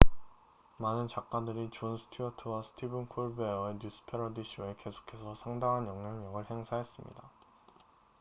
많은 작가들이 존 스튜어트와 스티븐 콜베어의 뉴스 패러디 쇼에 계속해서 상당한 영향력을 행사했습니다